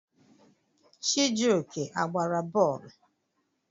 Chijioke a gbara bọọlụ?